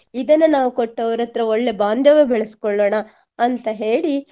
ಇದನ್ನು ನಾವು ಕೊಟ್ಟು ಅವರಹತ್ರ ಒಳ್ಳೆ ಬಾಂದವ್ಯ ಬೆಳೆಸ್ಕೊಳ್ಳೋನ ಅಂತ ಹೇಳಿ